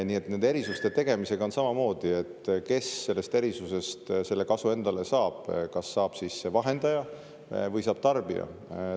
Nii et nende erisuste tegemisega on samamoodi, et kes sellest erisusest kasu endale saab: kas saab vahendaja või saab tarbija?